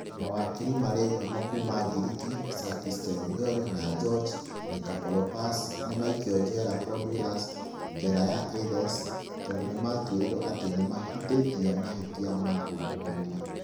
Mawakiri marĩ ngumo kuuma Ngiriki, Sakis Kechagioglou na George Nikolakopoulos, nĩ maikio njera Korydallus, njera ya Athens, tondũ nĩ maatuĩrĩirũo atĩ nĩ mahĩtĩtie na mahĩtia ma ungumania.